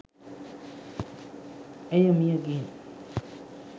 ඇය මිය ගිහින්